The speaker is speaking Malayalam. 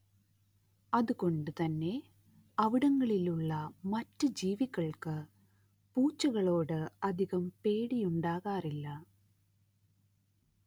അതുകൊണ്ട് തന്നെ അവിടങ്ങളിലുള്ള മറ്റ് ജീവികൾക്ക് പൂച്ചകളോട് അധികം പേടിയുണ്ടാകാറില്ല